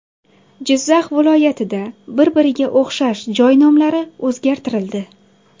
Jizzax viloyatida bir-biriga o‘xshash joy nomlari o‘zgartirildi.